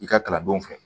I ka kalandenw fɛ